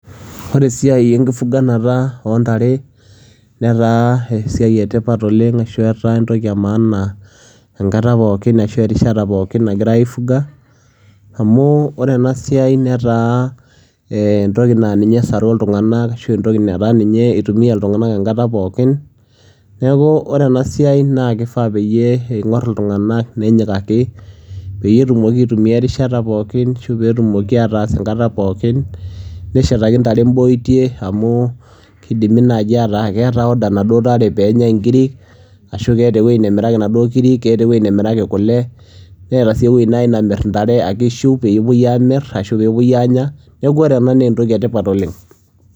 Wore esiai enkifuganata oontare netaa esiai etipat oleng, ashu etaa entoki emaana enkata pookin ashu erishata pookin nagira aigunga. Amu wore enasiai netaa entoki naa ninye esaru iltunganak ashu entoki nataa ninye itumia iltunganak enkata pookin. Niaku wore enasiai naa kifaa peyie ingoru iltunganak nenyikaki peyie etumoki aitumia erishata pookin ashu peetumoki ataasa enkata pookin neshetaki intare imboitie amu kidimi naaji ataa keta woda naduo tare peenyai inkirik ashu keeta eweji namiraki naduo kirik, keeta eweji namiraki kule neeta sii eweji naaji namir intare ishuu peepoi amir ashu peepoi anya. Niaku wore enaa naa entoki etipat oleng.